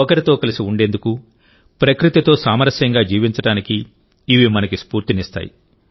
ఒకరితో కలిసి ఉండేందుకు ప్రకృతితో సామరస్యంగా జీవించడానికి ఇవి మనకు స్ఫూర్తినిస్తాయి